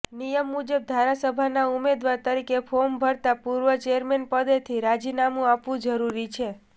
નિયમ મુજબ ધારાસભાના ઉમેદવાર તરીકે ફોર્મ ભરતા પૂર્વે ચેરમેન પદેથી રાજીનામુ આપવું જરૂરી છે